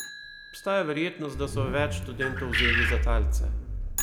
Obstaja verjetnost, da so več študentov vzeli za talce.